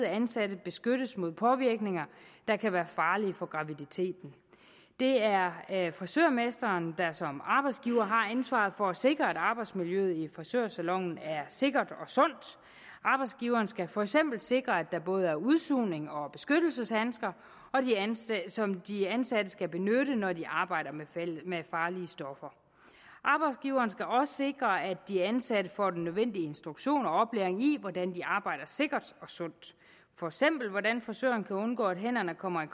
ansatte beskyttes mod påvirkninger der kan være farlige for graviditeten det er frisørmesteren der som arbejdsgiver har ansvaret for at sikre at arbejdsmiljøet i frisørsalonen er sikkert og sundt arbejdsgiveren skal for eksempel sikre at der både er udsugning og beskyttelseshandsker som de ansatte skal benytte når de arbejder med farlige stoffer arbejdsgiveren skal også sikre at de ansatte får den nødvendige instruktion og oplæring i hvordan de arbejder sikkert og sundt for eksempel hvordan frisøren kan undgå at hænderne kommer i